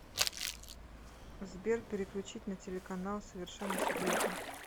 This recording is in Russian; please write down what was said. сбер переключить на телеканал совершенно секретно